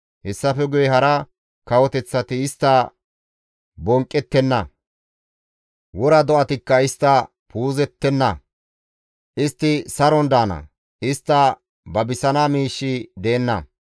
Hessafe guye hara kawoteththati istta bonqqettenna; wora do7atikka istta puuzettenna; istti saron daana; istta babisana miishshi deenna